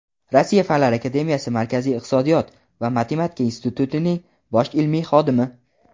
Rossiya Fanlar akademiyasi Markaziy iqtisodiyot va matematika institutining bosh ilmiy xodimi.